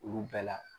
Olu bɛɛ la